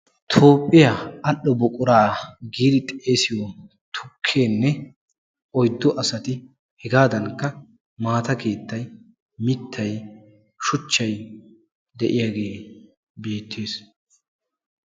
Toophiya al'o buqura yaagiddi xeegiyo tukkenne heegadankka maattayinne shuchchay beettes.